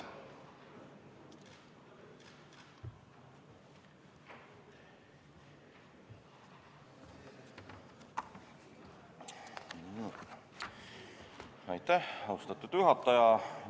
Aitäh, austatud juhataja!